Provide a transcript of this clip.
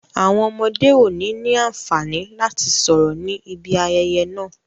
Àwọn ọmọdé ò ní ní àǹfààní láti sọ̀rọ̀ ní ibi ayẹyẹ naa